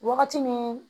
Wagati min